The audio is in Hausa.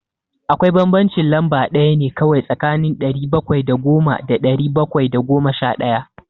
Akwai bambancin lamba ɗaya ne kawai tsakanin ɗari bakwai da goma da ɗari bakwai da goma sha ɗaya.